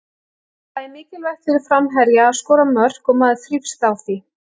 Það er mikilvægt fyrir framherja að skora mörk og maður þrífst á því.